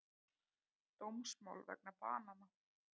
Dómsmál vegna banana